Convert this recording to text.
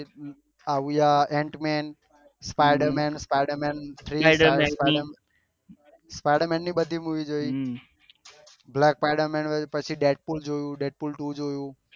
આવીએ ant man spider man spider man three spider ની બધી મુવી જોયી બ્લેક સ્પાયડર મેન પછી દેડ્પુલ જોયું દેડ્પુલ ટુ જોયું